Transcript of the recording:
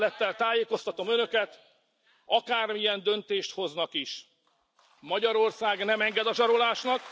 Tisztelettel tájékoztatom Önöket, akármilyen döntést hoznak is, Magyarország nem enged a zsarolásnak.